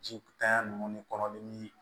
Ji tanya nunnu ni kɔnɔdimi